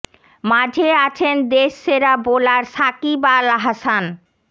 মাঝে আছেন দেশ সেরা বোলার সাকিব আল হাসান